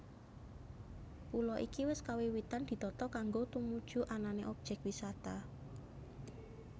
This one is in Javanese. Pulo iki wis kawiwitan ditata kanggo tumuju anané objek wisata